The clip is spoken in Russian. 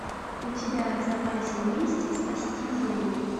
у тебя в запасе есть спасти землю